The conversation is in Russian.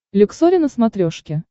люксори на смотрешке